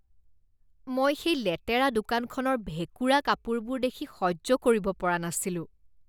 মই সেই লেতেৰা দোকানখনৰ ভেঁকুৰা কাপোৰবোৰ দেখি সহ্য কৰিব পৰা নাছিলোঁ।